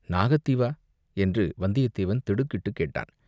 "நாகத் தீவா?" என்று வந்தியத்தேவன் திடுக்கிட்டுக் கேட்டான்.